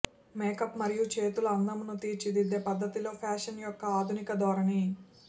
makeup మరియు చేతుల అందమును తీర్చిదిద్దే పద్ధతి లో ఫ్యాషన్ యొక్క ఆధునిక ధోరణి